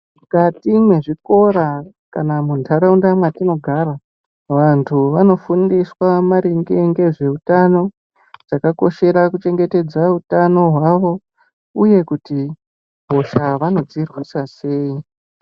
Mwukati mwezvikora kana muntharaunda mwatinogara vanthu vanofundiswa maringe ngezveutano, chakakoshera kuchengetedza utano hwavo uye kuti hosha vanodzirwisa sei.